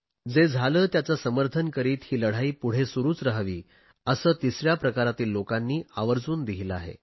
जे झाले त्याचे समर्थन करीत ही लढाई पुढे सुरुच राहावी असे तिसऱ्या प्रकारातील लोकांनी आवर्जुन लिहिले आहे